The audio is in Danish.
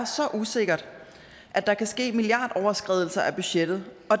så usikkert at der kan ske milliardoverskridelser af budgettet